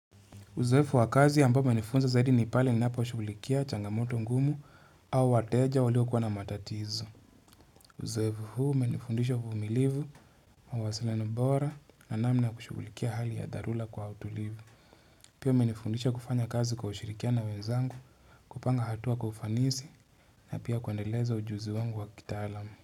Uzefu wakazi ya mbao menifunza zaidi nipale ni napo ushubulikia changamoto ngumu au wateja walio kuwana matatizo. Uzefu huu menifundisha kumilivu, mawasila nambora na namna kushubulikia hali ya darula kwa autolivu. Pio menifundisha kufanya kazi kwa ushirikia na wenzangu kupanga hatua kufanisi na pia kuendeleza ujuzi wangu wa kita alamu.